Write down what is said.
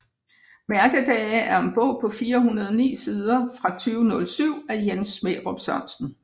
Mærkedage er en bog på 409 sider fra 2007 af Jens Smærup Sørensen